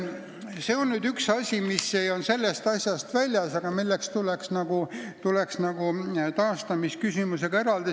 See on nüüd üks asi, mille taastamise küsimusega tuleks eraldi tegelda.